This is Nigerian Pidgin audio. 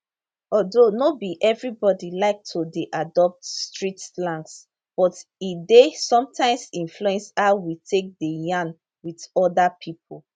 although no be evribody like to dey adopt street slangs but e dey sometimes influence how we take dey yarn wit oda pipo